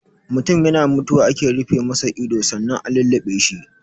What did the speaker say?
Mutun yana mutuwa ake rufe masa ido sannan a lulluɓe shi.